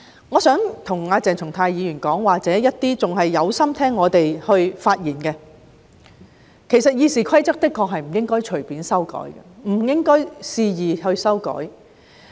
我想跟鄭松泰議員或仍然有心聆聽我們發言的人說句，《議事規則》的確不應該隨便或肆意修改。